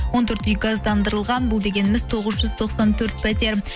он төрт үй газдандырылған бұл дегеніміз тоғыз жүз тоқсан төрт пәтер